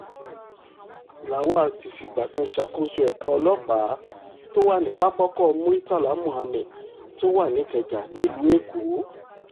lawal ti fìgbà kan ṣàkóso ẹ̀ka ọlọ́pàá tó wà ní pápákọ̀ muritàlá muhammed tó wà ní ìkẹjà nílùú èkó